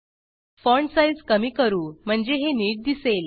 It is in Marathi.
फाँट साईज कमी करू म्हणजे हे नीट दिसेल